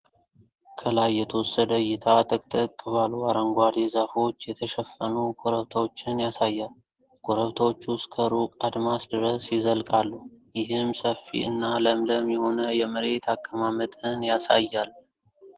ከላይ የተወሰደ እይታ ጥቅጥቅ ባሉ አረንጓዴ ዛፎች የተሸፈኑ ኮረብታዎችን ያሳያል። ኮረብታዎቹ እስከ ሩቅ አድማስ ድረስ ይዘልቃሉ፣ ይህም ሰፊ እና ለምለም የሆነ የመሬት አቀማመጥን ያሳያል።